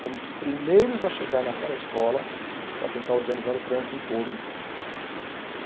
Fomos os primeiros a chegar naquela escola para tentar organizar o trânsito em torno.